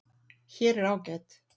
Hér er ágæt